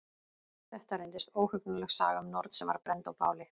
Þetta reyndist óhugnanleg saga um norn sem var brennd á báli.